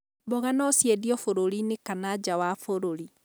Mboga no ciendio bũrũri-inĩ kana nja wa bũrũri.